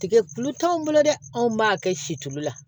Tigɛ kulu t'anw bolo dɛ anw b'a kɛ si tulu la